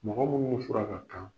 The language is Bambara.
Mɔgɔ minnu fura ka kan.